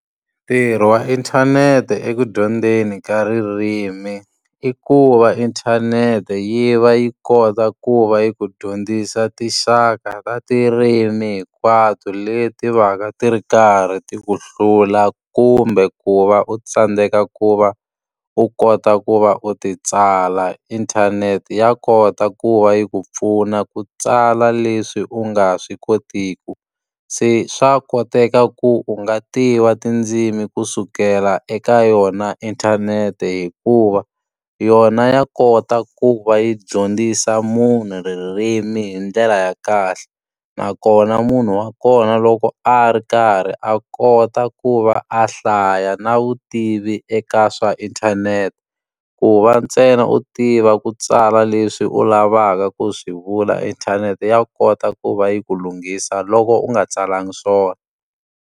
Ntirho wa inthanete eku dyondzeni ka ririmi, i ku va inthanete yi va yi kota ku va yi ku dyondzisa tinxaka ta tirimi hinkwato leti va ka ti ri karhi ti ku hlula kumbe ku va u tsandzeka ku va u kota ku va u ti tsala. Inthanete ya kota ku va yi ku pfuna ku tsala leswi u nga swi kotiki. Se swa koteka ku u nga tiva tindzimi kusukela eka yona inthanete hikuva, yona ya kota ku va yi dyondzisa munhu ririmi hi ndlela ya kahle. Nakona munhu wa kona loko a ri karhi a kota ku va a hlaya na vutivi eka swa inthanete. Ku va ntsena u tiva ku tsala leswi u lavaka ku swi vula inthanete ya kota ku va yi ku lunghisa loko u nga tsalangi swona.